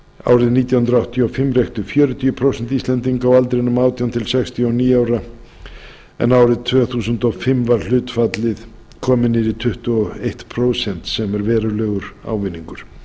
árið nítján hundruð áttatíu og fimm reyktu fjörutíu prósent íslendinga á aldrinum átján til sextíu og níu ára en árið tvö þúsund og fimm var hlutfallið komið niður í tuttugu og eitt prósent sem er verulegur ávinningur